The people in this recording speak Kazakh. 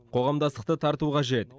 қоғамдастықты тарту қажет